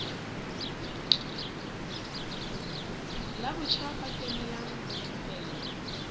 la batjha ba kenelang dithupelo